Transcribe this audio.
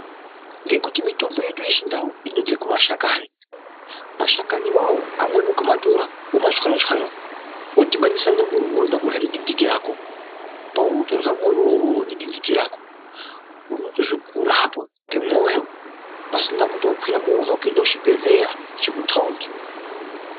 Ngekuti mitombo yedu yechindau, inobve kuma shakanyi, mashanyi wo awo , amweni ukamatora, womachwanya-chwanya, wodhibanisa nemuriwo wounoda kurya nedinditi rako. Peuri kutorya muriwo wo nedinditi rako, unotozwa kurapwa kwemwoyo, pasina kuti wakwira movha kuenda ku chibhedhleya chekuthaundi.